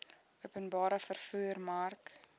openbare vervoer mark